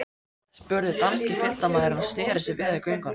spurði danski fylgdarmaðurinn og sneri sér við á göngunni.